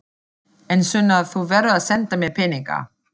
En Sunna, þú verður að senda mér peninga.